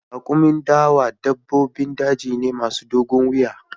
Raƙumin dawa dabbobin daji ne masu dogon wuya